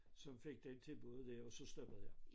Som fik det tilbud der og så stoppede jeg